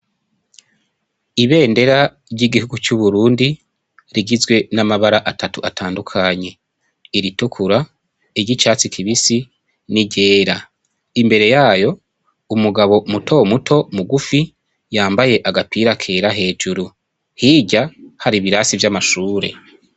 Ibendera ry'igihugu c'Uburundi rigizwe n'amabara atatu atandukanye, iritukura, iry'icatsi kibisi, n'iryera, imbere yayo umugabo muto muto mugufi yambaye agapira kera hejuru, hirya hari ibirasi vy'amashure.